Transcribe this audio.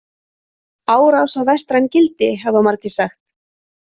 „Árás á vestræn gildi“ , hafa margir sagt.